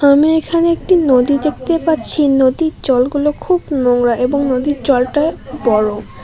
আমি এখানে একটি নদী দেখতে পাচ্ছি নদীর জলগুলো খুব নোংড়া এবং নদীর জলটা বরফ।